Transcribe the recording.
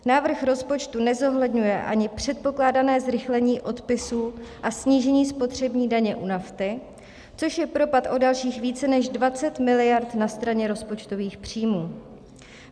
Návrh rozpočtu nezohledňuje ani předpokládané zrychlení odpisů a snížení spotřební daně u nafty, což je propad o dalších více než 20 miliard na straně rozpočtových příjmů.